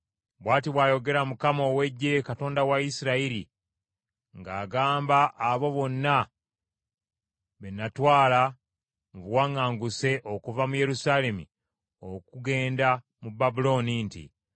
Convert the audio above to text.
Bw’ati bw’ayogera Mukama ow’Eggye, Katonda wa Isirayiri, ng’agamba abo bonna be natwala mu buwaŋŋanguse okuva mu Yerusaalemi okugenda mu Babulooni nti,